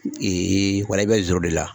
wala i bɛ zoro de la.